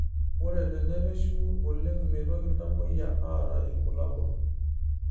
Ore tenerishu oleng meitoki iltamoyia aata irbulabol